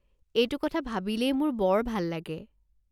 এইটো কথা ভাবিলেই মোৰ বৰ ভাল লাগে।